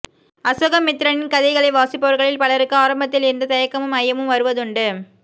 அசோகமித்திரனின் கதைகளை வாசிப்பவர்களில் பலருக்கு ஆரம்பத்தில் இந்தத் தயக்கமும் ஐயமும் வருவதுண்டு